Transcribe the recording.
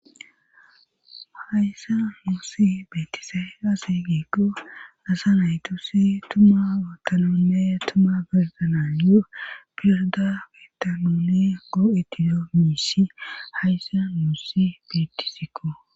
hayssa nussi beettizay aze giikko naasa naytusi tuma otanonne tuma berdananyo pirda kitanoni goo7etido miisi hayssa muussi beettisikko